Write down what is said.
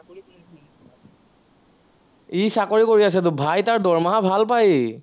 সি চাকৰি কৰি আছেতো, ভাই তাৰ দৰমহা ভাল পায় সি